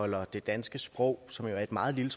holder det danske sprog som jo er et meget lille